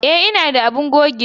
E, ina da abun gogewa.